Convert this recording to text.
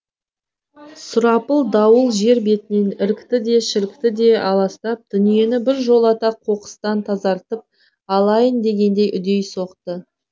сұрапыл дауыл жер бетінен ірікті де шірікті де аластап дүниені бір жолата қоқыстан тазартып алайын дегендей үдей соқты